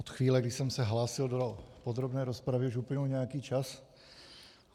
Od chvíle, kdy jsem se hlásil do podrobné rozpravy, už uplynul nějaký čas.